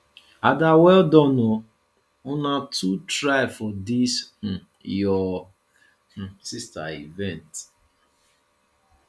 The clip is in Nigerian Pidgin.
ada welldone oo una too try for dis um your um sister event